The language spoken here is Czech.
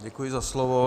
Děkuji za slovo.